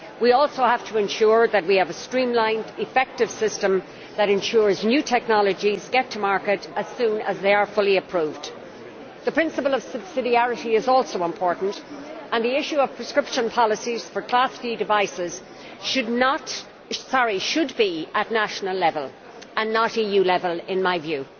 We also have to ensure that we have a streamlined, effective system which ensures new technologies get to market as soon as they are fully approved. The principle of subsidiarity is also important, and the issue of prescription policies for class D devices should be at national level and not at EU level, in my view.